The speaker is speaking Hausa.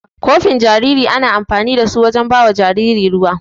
Kofin jariri ana amfanin da su wajen bawa jariri ruwa.